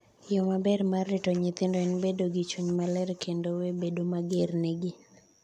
yoo maber mar rito nyithindo en bedo gi chuny maler kendo we bedo mager negi…"